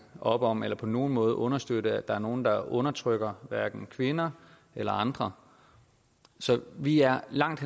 op om eller på nogen måde understøtte at der er nogle der undertrykker kvinder eller andre så vi er langt